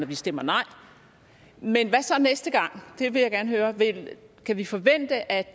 vi stemmer nej men hvad så næste gang det vil jeg gerne høre kan vi forvente at